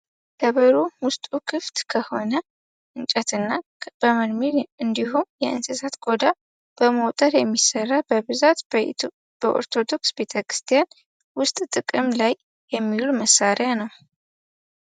ከበሮ ውስጡ ክፍት ከሆነ እንጨት እና በርሜል እንዲሁም የእንስሳትን ቆዳ በመወጠር የሚሰራ በብዛት በኦርቶዶክስ ቤተክርስቲያን ውስጥ ጥቅም ላይ የሚውል መሳሪያ ነው።